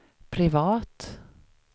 privat